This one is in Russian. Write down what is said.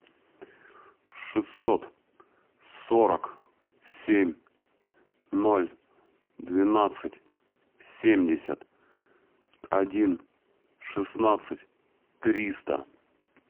шестьсот сорок семь ноль двенадцать семьдесят один шестнадцать триста